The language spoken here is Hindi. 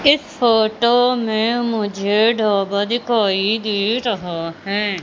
इस फोटो में मुझे ढाबा दिखाई दे रहा है।